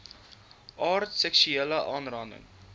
aard seksuele aanranding